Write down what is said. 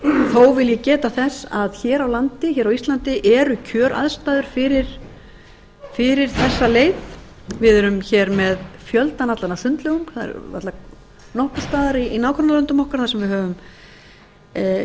þó vil ég geta þess að hér á íslandi eru kjöraðstæður fyrir þessa leið við erum hér með fjöldann allan af sundlaugum það er varla nokkurs staðar í nágrannalöndum okkar sem við